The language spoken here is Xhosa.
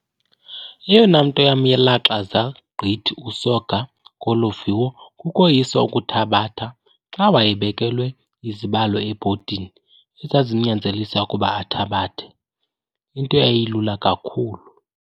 Eyona nto yamlaxaza gqitha uSoga kolo viwo kukoyiswa ukuthabatha xa wayebekelwe izibalo ebhodini ezazimnyanzelisa ukuba athabathe, into eyayilula kakhulu.